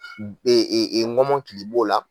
b ŋɔmɔnkili b'o la